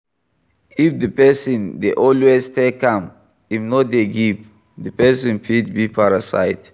If di person dey always take and im no dey give, di person fit be parasite